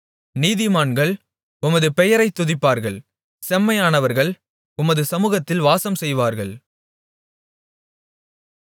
நீதிமான்கள் உமது பெயரைத் துதிப்பார்கள் செம்மையானவர்கள் உமது சமுகத்தில் வாசம் செய்வார்கள்